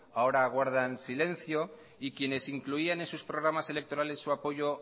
ahora guardan silencio y quienes incluían en sus programas electorales su apoyo